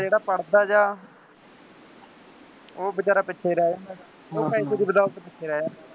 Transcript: ਜਿਹੜਾ ਪੜ੍ਹਦਾ ਗਿਆ ਉਹ ਬੇਚਾਰਾ ਪਿੱਛੇ ਰਹਿ ਜਾਂਦਾ, ਉਹ ਪੈਸੇ ਦੀ ਬਦੌਲਤ ਪਿੱਛੇ ਰਹਿ ਜਾਂਦਾ